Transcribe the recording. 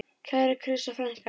Kæra Krissa frænka.